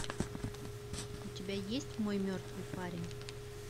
у тебя есть мой мертвый парень